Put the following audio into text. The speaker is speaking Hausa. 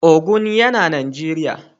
Ogun yana Najeriya.